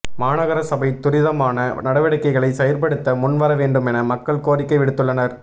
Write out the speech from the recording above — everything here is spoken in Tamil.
மாநகர சபை துரிதமான நடவடிக்கைகளை செயற்படுத்த முன் வர வேண்டுமென மக்கள் கோரிக்கை விடுத்துள்ளனர்